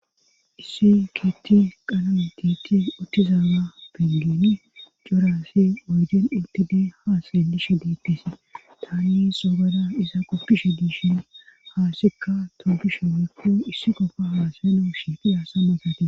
issi keetti qaname tiitti uttizaama bengini corassi oygen intid haasaye dishe diittisi tani xoogada iza qoppishe diishin haasekka toobishe wuyykko issi qofa haasayeno shiifi aasa magate